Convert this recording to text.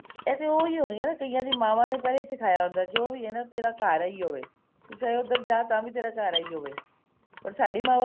ਇਹ ਤਾਂ ਉਹੀ ਹੈ ਕਈਆਂ ਦੀ ਮਾਵਾਂ ਨੇ ਪਹਿਲਾਂ ਸਿਖਾਇਆ ਹੁੰਦਾ ਜੋ ਵੀ ਹਿਆ ਨਾ ਤੇਰਾ ਘਰ ਇਹ ਹੀ ਹੋਵੇ ਚਾਹੇ ਉੱਧਰ ਜਾ ਤੇਰਾ ਘਰ ਇਹੀ ਹੋਵੇ ਓਰ ਸਾਡੀ